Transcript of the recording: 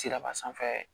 Siraba sanfɛ